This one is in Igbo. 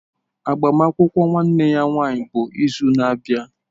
Agbamakwụkwọ nwanne ya nwanyị bụ izu na-abịa.